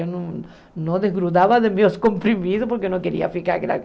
Eu não não desgrudava dos meus comprimidos, porque eu não queria ficar